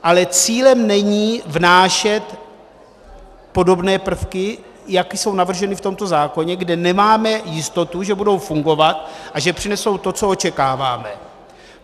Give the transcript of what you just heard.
Ale cílem není vnášet podobné prvky, jaké jsou navrženy v tomto zákoně, kde nemáme jistotu, že budou fungovat a že přinesou to, co očekáváme.